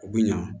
U bɛ ɲa